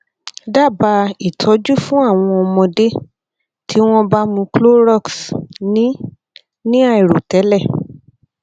dábàá ìtọjú fún àwọn ọmọdé tí wọn bá mu clorox ní ní àìròtẹlẹ